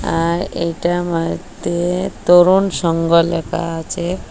আর এইটার মদ্যে তরুণ সংঘ লেকা আচে ।